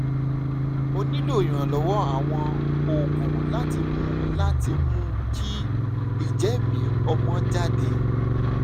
o nílò ìrànlọ́wọ́ àwọn oògùn láti mú láti mú kí ìjẹ̀mìí-ọ̀mọ́ jáde